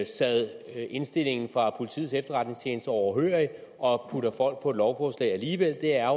sad indstillingen fra politiets efterretningstjeneste overhørig og puttede folk på et lovforslag alligevel er